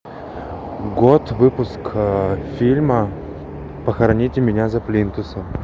год выпуска фильма похороните меня за плинтусом